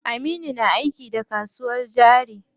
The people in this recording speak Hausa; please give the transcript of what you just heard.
Aminu na aiki da kasuwar jari.